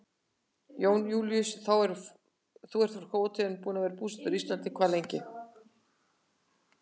Jón Júlíus: Þú ert frá Króatíu en búinn að vera búsettur á Íslandi hvað lengi?